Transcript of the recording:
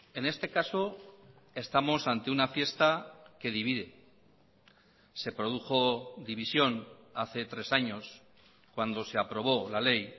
en este caso estamos ante una fiesta que divide se produjo división hace tres años cuando se aprobó la ley